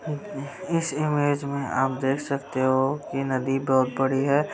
इस इमेज में आप देख सकते हो ये नदी बहुत बड़ी है।